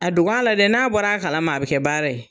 A dog'a la dɛ, n'a bɔr'a kalama a bɛ kɛ baara ye.